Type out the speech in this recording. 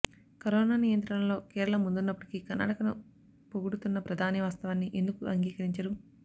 corona నియంత్రణలో కేరళ ముందున్నప్పటికీ కర్ణాటకను పొగుడు తున్న ప్రధాని వాస్తవాన్ని ఎందుకు అంగీకరించరు